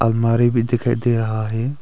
अलमारी भी दिखाई दे रहा है।